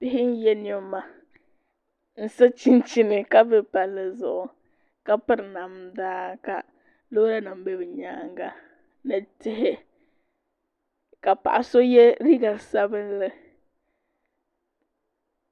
Bihi n yɛ niɛma n so chinchini ka bɛ palli zuɣu ka piri namda ka loori nim bɛ bi nyaanga ni tihi ka paɣa so yɛ liiga sabinli